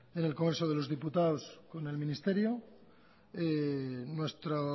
en el congreso de los diputados o en el ministerio nuestra